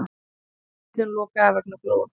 Spilavítum lokað vegna flóða